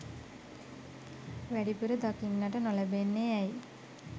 වැඩිපුර දකින්නට නොලැබෙන්නේ ඇයි?